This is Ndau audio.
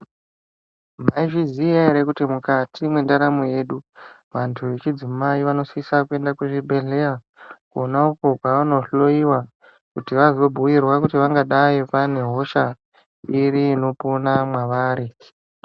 Mwaizviziya ere kuti mukati mwendaramo yedu ,vantu vechidzimai vanosisa kuenda kuzvibhedhleya, kwona uko kwavanohloiwa, kuti vazobhuirwa kuti vangadai vane hosha iri inopona mwavari.